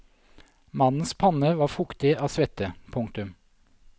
Mannens panne var fuktig av svette. punktum